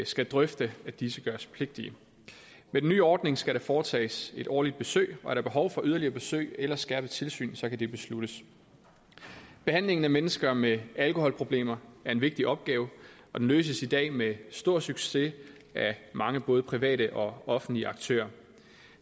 skal drøfte at disse gøres pligtige med den nye ordning skal der foretages et årligt besøg og er der behov for yderligere besøg eller skærpet tilsyn så kan det besluttes behandlingen af mennesker med alkoholproblemer er en vigtig opgave og den løses i dag med stor succes af mange både private og offentlige aktører